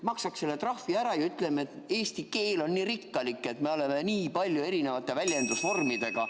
Maksaksime selle trahvi ära ja ütleksime, et eesti keel on nii rikkalik, me oleme nii paljude erisuguste väljendusvormidega.